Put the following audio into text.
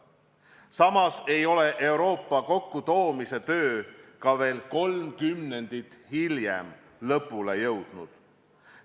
Samas ei ole Euroopa kokkutoomise töö ka veel kolm kümnendit hiljem lõpule jõudnud.